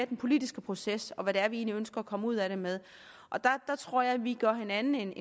den politiske proces og hvad det egentlig er vi ønsker at komme ud af det med og der tror jeg vi gør hinanden en